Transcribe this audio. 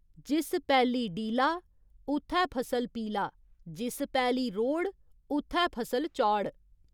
जिस पैली डीला, उत्थै फसल पीला जिस पैली रोड़, उत्थै फसल चौड़।